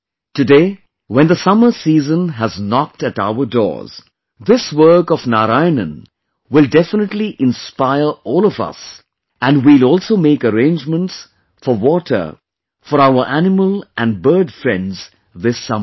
Today, when the summer season has knocked at our doors, this work of Narayanan will definitely inspire all of us and we will also make arrangements for water for our animal and bird friends this summer